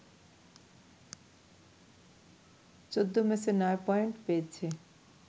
১৪ ম্যাচে ৯ পয়েন্ট পেয়েছে